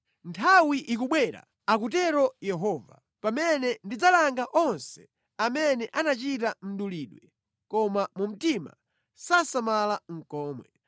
“Nthawi ikubwera,” akutero Yehova, “pamene ndidzalanga onse amene anachita mdulidwe koma mu mtima sasamala nʼkomwe.